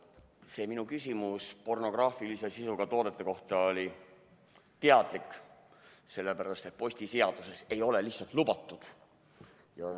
See minu küsimus pornograafilise sisuga toodete kohta oli teadlik, sest postiseaduses ei ole see lihtsalt lubatud.